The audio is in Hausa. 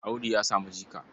Audu ya samu jika.